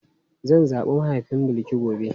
Zan zabi mahaifin Bilki gobe.